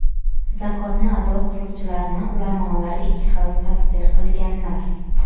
Zakotni ado qiluvchilarni ulamolar ikki xil tafsir qilganlar.